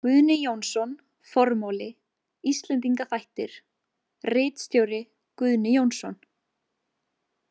Guðni Jónsson, Formáli, Íslendinga þættir, ritstjóri Guðni Jónsson.